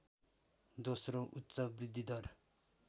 दोस्रो उच्च वृद्धिदर